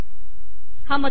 हा मथळा आला